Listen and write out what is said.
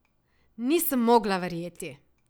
Nisem mogla verjeti!